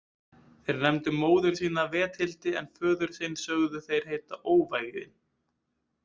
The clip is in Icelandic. Þeir nefndu móður sína Vethildi en föður sinn sögðu þeir heita Óvæginn.